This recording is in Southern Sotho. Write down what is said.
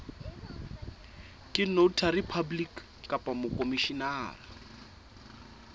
ke notary public kapa mokhomishenara